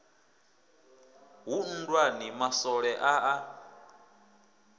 hu nndwani maswole a a